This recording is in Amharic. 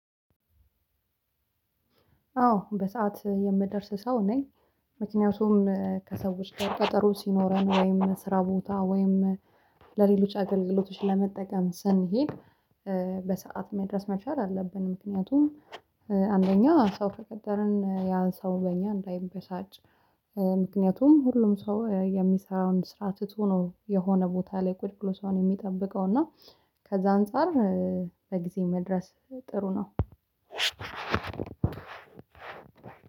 አዎ በሰአት የምደርስ ሰው ነኝ። ምክንያቱም ከሰዎች ጋር ቀጠሮ ሲኖረን ወይም ስራ ቦታ ወይም ለሌሎች አገልግሎቶች ለመጠቀም ስንሄድ። በሰአት መድረስ መቻል አለብን። ምክንያቱም አንደኛ ሰው ከቀጠርን ያንሰው በእኛ እንዳይበሳጭ። ምክንያቱም ሁሉም ሰው የሚሰራውን ስራ ትቶ ነው የሆነ ቦታ ላይ ቁጭቁጭ ሰው የሚጠብቀው እና ከዛ አንፃር። በጊዜ መድረስ ጥሩ ነው።